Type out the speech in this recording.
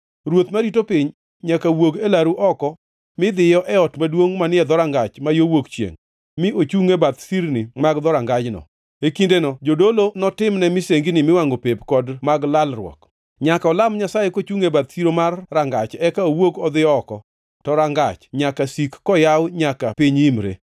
Ruoth marito piny nyaka wuog e laru oko midhiyo e ot maduongʼ manie dhorangach ma yo wuok chiengʼ mi ochungʼ e bath sirni mag dhorangajno. E kindeno jodolo notimne misengini miwangʼo pep kod mag lalruok. Nyaka olam Nyasaye kochungʼ e bath siro mar rangach eka owuog odhi oko, to rangach nyaka sik koyaw nyaka piny imre.